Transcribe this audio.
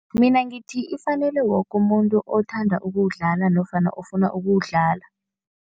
Mina ngithi ifanele woke umuntu othanda ukuwudlala nofana ofuna ukuwudlala.